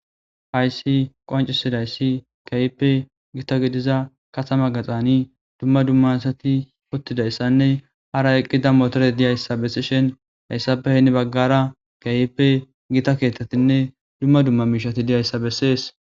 Hayssi qoncisizayssi gita gidida katama giddon dumma dumma asati utidayssanne hara motorey eqidayssa besishshin hayssappe heni bagara gita keththatinne dumma dumma mishati dizayssa beses.